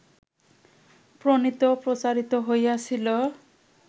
প্রণীত ও প্রচারিত হইয়াছিল